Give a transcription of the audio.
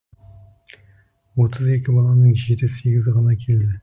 отыз екі баланың жеті сегізі ғана келді